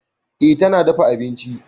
E, tana dafa abinci.